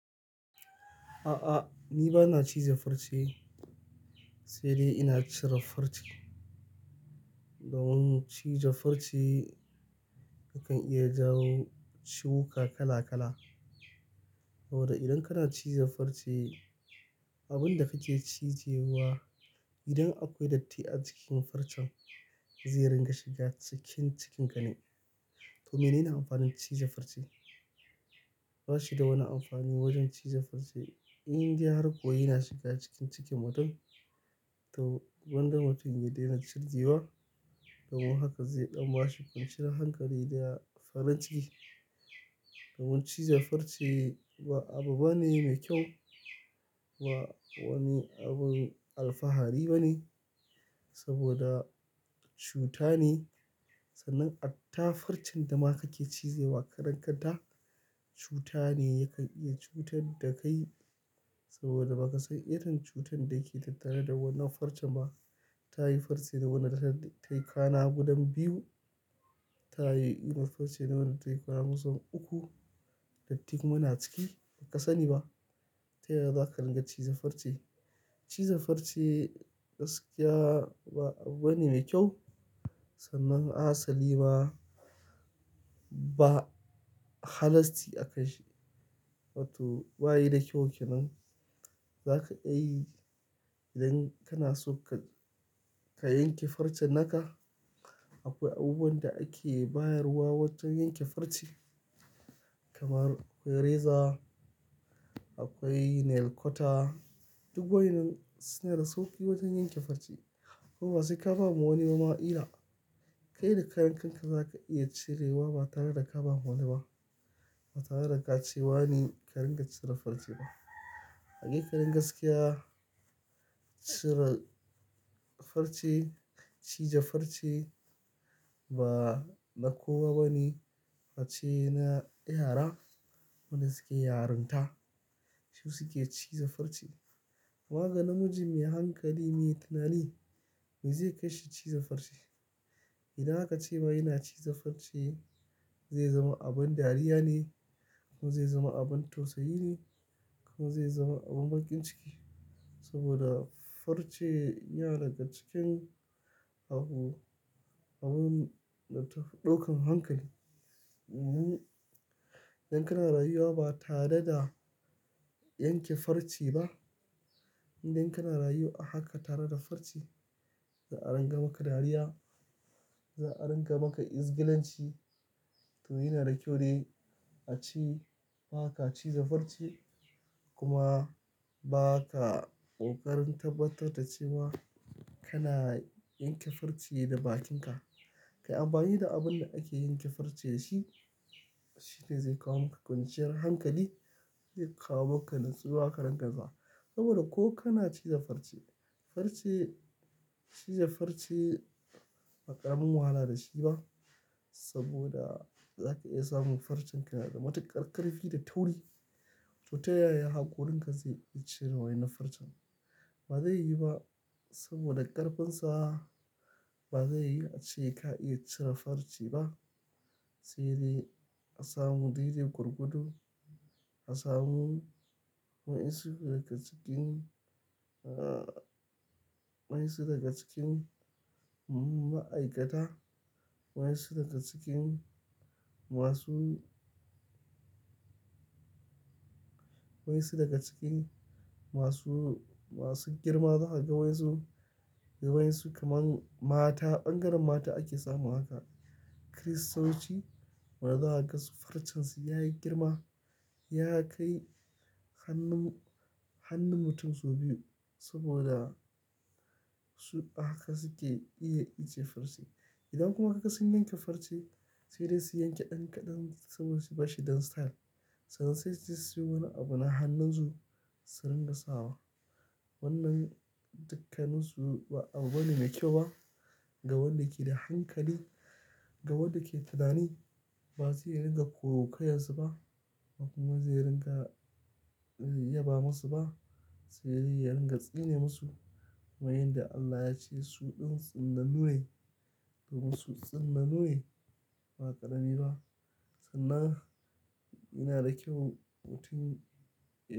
A'a, ni ba na ciza farce, sai dai ina cire farce. Domin ciza farce yakan iya jawo ciwuka kala kala. Saboda idan kana ciza farce, abin da kake cije wa, idan akwai datti a cikin farcen zai ringa shiga cikin cikin gani. To menene amfanin ciza farce? Ba shi da wani amfani wajen ciza farce. In dai har ko yana shiga cikin cikin mutum, to gwanda mutum ya daina cijewa, domin haka zai ɗan ba shi kwanciyar hankali da farin ciki. Domin ciza farce ba abu bane mai kyau, ba wani abin alfahari bane saboda cuta ne. Sannan hatta farcen da ma kake cijewa karenka ta cuta ne ya ka iya cutar da kai saboda ba ka san irin cutar da ke tattare da wannan farcen ba. Ta yi farce da wannan ta yi kana gudun biyu, ta yi farce da wannan ta yi kusan uku, dattin kuma na ciki ba ka sani ba. Ta yaya za ka ringa ciza farce? Ciza farce gaskiya ba abu bane mai kyau. Sannan a asali ma ba halasti aka. Wato ba yi da kyau ke nan. Za ka iya yi idan kana so ka, ka yanke farce naka. Akwai abubuwan da ake bayarwa wajen yanke farce. Kamar akwai reza, akwai nail cutter, duk wa'innan suna da sauƙi wajen yanke farce. Kuma sai ka ba mu wani ba ma ƙila, kai da karen kanka za ka iya cirewa ba tare da ka ba ma wani ba. Ba tare da ka ce wane ka ringa cire farce ba. Haƙiƙanin gaskiya, cire farce, ciza farce ba na kowa bane. Ace na yara wanda suke yarinta su suke ciza farce. Amma ga namiji mai hankali, mai tunani me zai kai shi ciza farce? Idan aka ce ba yana ciza farce zai zama abin dariya ne, kuma zai zama abin tausayi ne, kuma zai zama abin baƙin ciki. Saboda farce yana daga cikin abun, abun ɗaukan hankali. Idan kana rayuwa ba tare da yanke farce ba, idan kana rayuwa haka tare da farce, za a ringa maka dariya, za a ringa maka izgilanci. To yana da kyau dai a ce ba ka ciza farce kuma ba ka ƙoƙarin tabbatar da cewa kana yanke farce da bakinka. Kai amfani da abin da ake yanke farce shi, shi ne zai kawo maka kwanciyar hankali, zai kawo maka nutsuwa ka ringa za. Saboda ko kana ciza farce, farce, ciza farce, ba ƙaramin wahala da shi ba saboda za ka iya samun farcen kana da matuƙar ƙarfi da tauri. To ta yaya haƙorinka zai iya cire wannan farce? Ba zai yi ba saboda ƙarfinsa ba zai yi a ce ka iya cire farce ba. Sai dai a samu daidai gwargwado, a samu wa'insu daga cikin, wa'insu daga cikin ma'aikata, wa'insu daga cikin masu, wa'insu daga cikin masu, masu girma za ka ga wasu, wasu kamar mata ɓangaren mata ake samun haka. Kiristanci wanda za ka ga su farcen su ya yi girma, ya kai hannun, hannun mutum sau biyu saboda su haka suke iya ice farce. Idan kuma kuka sanya farce sai dai su yanke ɗan ka ɗan saboda su bashi dan style. Sai sai su yi wani abu na hannun su su ringa sa wa. Wannan dukkanin su ba abu bane mai kyau ba ga wanda ke da hankali, ga wanda ke tunani. Ba sai ringa kwaikwayansu ba kuma zai ringa yaba masu ba. Sai dai ya ringa tsine masu. Kaman yanda Allah ya ce suɗin tsinnanu ne domin su tsinnanu ne ba ƙarami ba. Sannan yana da kyau mutum ya.